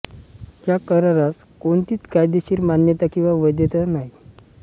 या करारास कोणतीच कायदेशीर मान्यता किंवा वैधता नाही